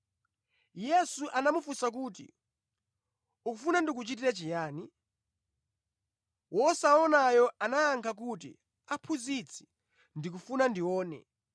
Yesu anamufunsa kuti, “Ukufuna ndikuchitire chiyani?” Wosaonayo anayankha kuti, “Aphunzitsi, ndikufuna ndione.”